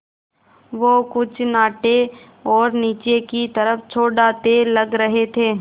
वो कुछ नाटे और नीचे की तरफ़ चौड़ाते लग रहे थे